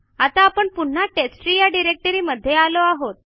आता आपण पुन्हा टेस्टट्री या डिरेक्टरी मध्ये आलो आहोत